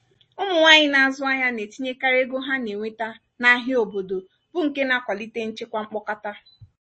ụmụ nwanyị na-azụ ahịa na-etinyekarị ego ha na-enweta n'ahịa obodo bụ nke na-akwalite nchekwa mkpokọta